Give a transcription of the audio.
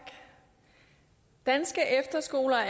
danske efterskoler